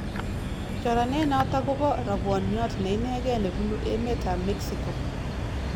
Choranenoto k kobo rabwoniot neinegei nebubu emetab mexico